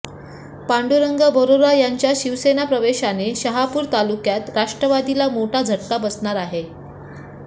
पांडुरंग बरोरा यांच्या शिवसेना प्रवेशाने शहापूर तालुक्यात राष्ट्रवादीला मोठा झटका बसणार आहे